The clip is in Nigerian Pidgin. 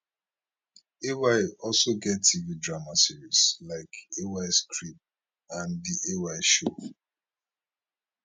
ay also get tv drama series like ays crib and the ay show